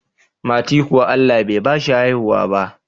Mati kuwa Allah Bai bashi haihuwa ba